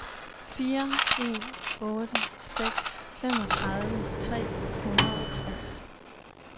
fire en otte seks femogtredive tre hundrede og tres